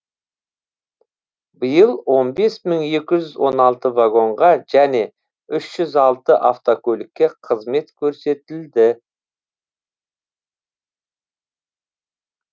биыл он бес мың екі жүз он алты вагонға және үш жүз алты автокөлікке қызмет көрсетілді